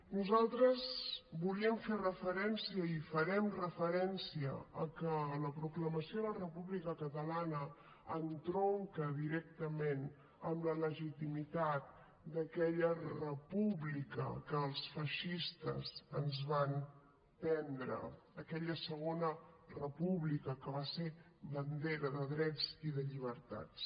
nosaltres volíem fer referència i farem referència a que la proclamació de la república catalana entronca directament amb la legitimitat d’aquella república que els feixistes ens van prendre aquella segona república que va ser bandera de drets i de llibertats